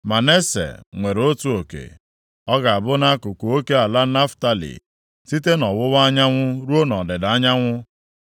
Manase nwere otu oke. Ọ ga-abụ nʼakụkụ oke ala Naftalị, site nʼọwụwa anyanwụ ruo nʼọdịda anyanwụ.